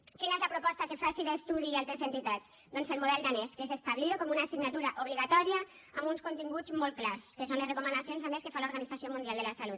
quina és la proposta que fan sida studi i altres entitats doncs el model danès que és establir ho com una assignatura obligatòria amb uns continguts molt clars que són les recomanacions a més que fa l’organització mundial de la salut